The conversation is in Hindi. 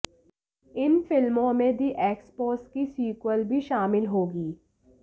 इन फिल्मों में द एक्सपोस की सीक्वल भी शामिल होगी